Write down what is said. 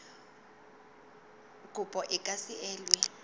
kopo e ka se elwe